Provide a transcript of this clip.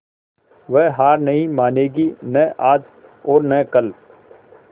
वह हार नहीं मानेगी न आज और न कल